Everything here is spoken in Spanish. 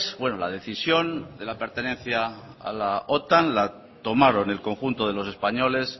bueno la decisión de la pertenencia a la otan la tomaron el conjunto de los españoles